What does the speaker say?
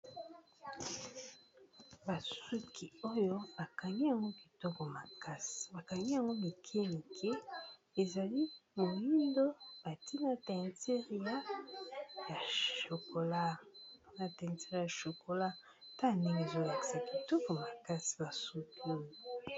Basuki oyo bakangi yango kitoko makasi bakangi yango mikie mikie ezali moyindo batié na teinture ya chokola ta ndenge ezolakisa kitoko makasi basuki oyo.